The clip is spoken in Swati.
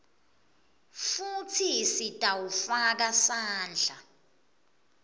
futsi titawufaka sandla